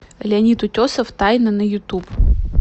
леонид утесов тайна на ютуб